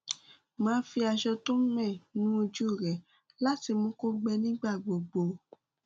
máa fi aṣọ tó mẹ nu ojú rẹ láti mú kó gbẹ nígbà gbogbo